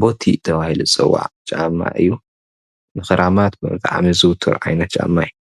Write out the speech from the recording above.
ቦቲ ተባሂሉ ዝፅዋዕ ጫማ እዩ:: ንኽራማት ብጣዕሚ ዝዝውትር ዓይነት ጫማ እዩ ።